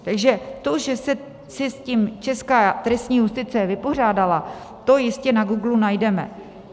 Takže to, že se s tím česká trestní justice vypořádala, to jistě na Google najdeme.